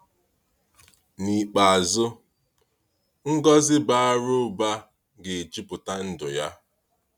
N’ikpeazụ, ngọzi bara ụba ga-ejuputa ndụ ya.